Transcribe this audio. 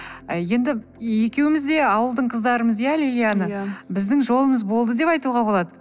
і енді екеуіміз де ауылдың қыздармыз ия лилияна біздің жолымыз болды деп айтуға да болады